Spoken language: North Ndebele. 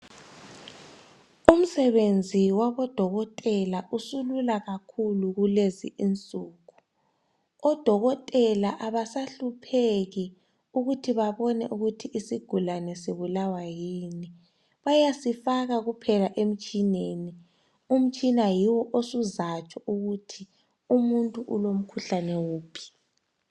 Umsebenzi wabodokotela usulula kakhulu kulezi insuku , odokotela abasahlupheki ukuthi babone ukuthi isigulane sibulawa yini , bayasifaka kuphela emitshineni , umtshina yiwo osuzatsho ukuthi umuntu ulo mkhuhlane wuphi